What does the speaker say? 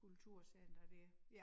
Kulturcenter dér